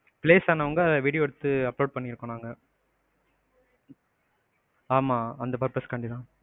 place ஆனவங்கள video எடுத்து upload பண்ணிருக்கோம் நாங்க. ஆமா அந்த purpose காண்டிதான்.